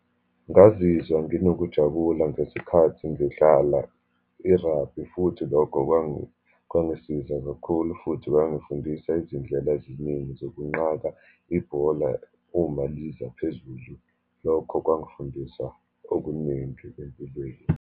Ngazizwa nginokungajabula ngesikhathi ngidlala i-rugby, futhi lokho kwangisiza kakhulu, futhi kwangifundisa izindlela eziningi zokunqaka ibhola uma lizaphezulu. Lokho kwangifundisa okuningi empilweni.